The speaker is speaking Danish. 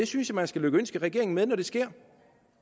synes at man skal lykønske regeringen med det når det sker